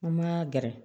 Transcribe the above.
An ma gɛrɛ